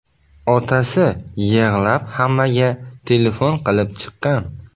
Otasi yig‘lab hammaga telefon qilib chiqqan.